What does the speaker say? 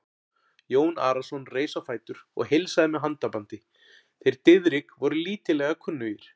Jón Arason reis á fætur og heilsaði með handabandi, þeir Diðrik voru lítillega kunnugir.